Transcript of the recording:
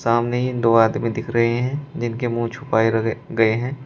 सामने ये दो आदमी दिख रहे हैं जिनके मुंह छुपाए रह गए हैं।